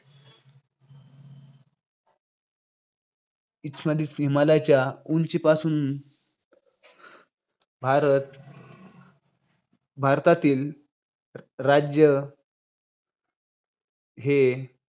हिमाच्छादित हिमालयाच्या उंचीपासून भारत, भारतातील र~ राज्य हे.